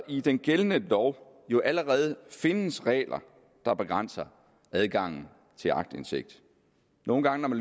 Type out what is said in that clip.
i den gældende lov jo allerede findes regler der begrænser adgangen til aktindsigt nogle gange